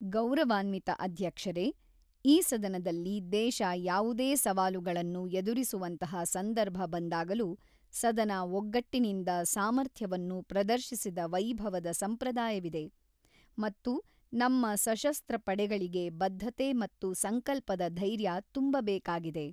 ಗೌರವಾನ್ವಿತ ಅಧ್ಯಕ್ಷರೇ, ಈ ಸದನದಲ್ಲಿ ದೇಶ ಯಾವುದೇ ಸವಾಲುಗಳನ್ನು ಎದುರಿಸುವಂತಹ ಸಂದರ್ಭ ಬಂದಾಗಲೂ ಸದನ ಒಗ್ಗಟ್ಟಿನಿಂದ ಸಾಮರ್ಥ್ಯವನ್ನು ಪ್ರದರ್ಶಿಸಿದ ವೈಭವದ ಸಂಪ್ರದಾಯವಿದೆ ಮತ್ತು ನಮ್ಮ ಸಶಸ್ತ್ರ ಪಡೆಗಳಿಗೆ ಬದ್ಧತೆ ಮತ್ತು ಸಂಕಲ್ಪದ ಧೈರ್ಯ ತುಂಬಬೇಕಾಗಿದೆ.